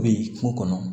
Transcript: Bɛ kungo kɔnɔ